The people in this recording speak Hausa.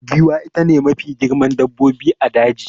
Giwa ita ce Mafi girma a dabbobin daji